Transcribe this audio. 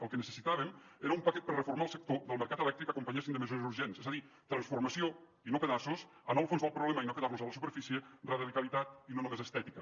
el que necessitàvem era un paquet per reformar el sector del mercat elèctric que l’acompanyéssim de mesures urgents és a dir transformació i no pedaços anar al fons del problema i no quedar nos a la superfície radicalitat i no només estètica